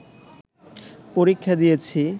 পরীক্ষা দিয়েছি